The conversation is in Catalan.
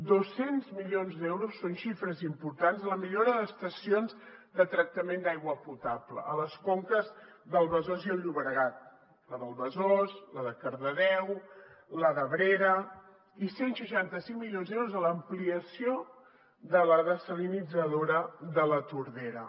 dos cents milions d’euros són xifres importants per a la millora d’estacions de tractament d’aigua potable a les conques del besòs i el llobregat la del besòs la de cardedeu la d’abrera i cent i seixanta cinc milions d’euros per a l’ampliació de la dessalinitzadora de la tordera